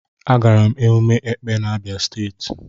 Agara m emume Ekpè n'Abia state.